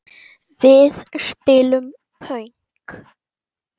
Við spilum pönk!